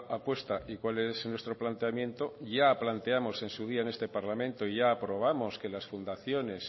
apuesta y cuál es nuestro planteamiento ya planteamos en su día en este parlamento y ya aprobamos que las fundaciones